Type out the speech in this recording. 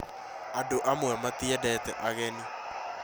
Andũ amwe matiendete ageni